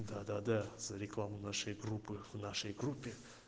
да-да-да за рекламу нашей группы в нашей группе